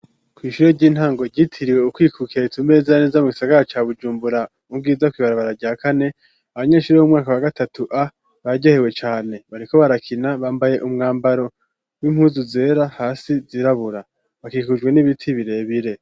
Ku ishure ry'intango ryitiriwe kwikukira ritumbereye neza neza mu gisagara ca Bujumbura mu bwiza kwi barabara rya kane. Abanyeshuri b'umwaka wa gatatu a bararyohewe cane bariko barakina bambaye umwambaro w'impuzu zera hasi zirabura bakikujwe n'ibiti birebire.